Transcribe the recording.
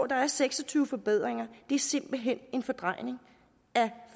der er seks og tyve forbedringer er simpelt hen en fordrejning af